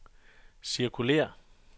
cirkulér